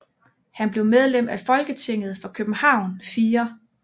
Han blev medlem af Folketinget for København 4